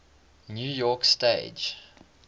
new york stage